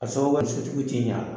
A sababu , a ni sotigiw ti ɲɛ a la .